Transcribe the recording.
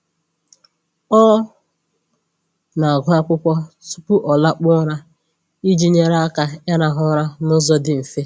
Ọ na-agụ akwụkwọ tupu ọ lakpuo ụra iji nyere aka ịrahụ ụra n'ụzọ dị mfe.